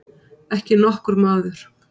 Ekki nokkur maður.